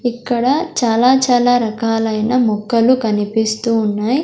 ఇక్కడ చాలా చాలా రకాలైనా ముక్కలు కనిపిస్తు ఉన్నాయ్.